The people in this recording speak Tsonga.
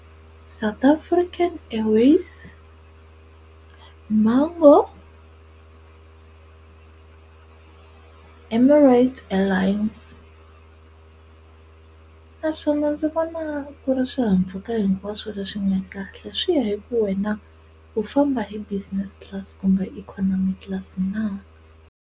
South African Airways, Mango, Emirates Airlines naswona ndzi vona ku ri swihahampfhuka hinkwaswo leswi nga kahle swi ya hi ku wena u famba hi business class kumbe hi economic class na.